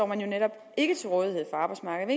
man jo netop ikke til rådighed for arbejdsmarkedet